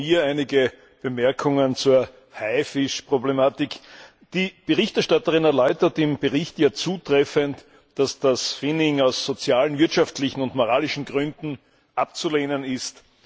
Auch von mir einige Bemerkungen zur Haifisch Problematik Die Berichterstatterin erläutert im Bericht ja zutreffend, dass das Finning aus sozialen, wirtschaftlichen und moralischen Gründen abzulehnen ist.